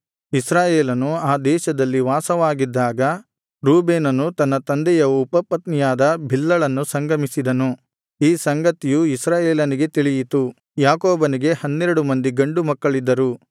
ಇಸ್ರಾಯೇಲನು ಆ ದೇಶದಲ್ಲಿ ವಾಸವಾಗಿದ್ದಾಗ ರೂಬೇನನು ತನ್ನ ತಂದೆಯ ಉಪಪತ್ನಿಯಾದ ಬಿಲ್ಹಳನ್ನು ಸಂಗಮಿಸಿದನು ಈ ಸಂಗತಿಯು ಇಸ್ರಾಯೇಲನಿಗೆ ತಿಳಿಯಿತು ಯಾಕೋಬನಿಗೆ ಹನ್ನೆರಡು ಮಂದಿ ಗಂಡು ಮಕ್ಕಳಿದ್ದರು